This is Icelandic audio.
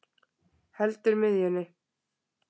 Heldur miðjunni.